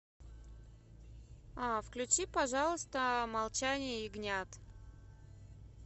включи пожалуйста молчание ягнят